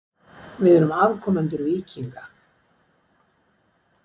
Við erum afkomendur víkinga.